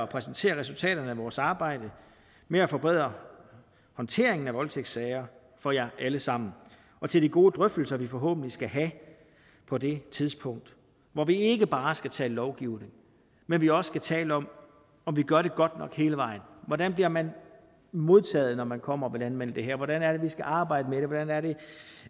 præsentere resultaterne af vores arbejde med at forbedre håndteringen af voldtægtssager for jer alle sammen og til de gode drøftelser vi forhåbentlig skal have på det tidspunkt hvor vi ikke bare skal tale lovgivning men vi også skal tale om om vi gør det godt nok hele vejen hvordan bliver man modtaget når man kommer og vil anmelde det her hvordan er det vi skal arbejde med det hvordan er det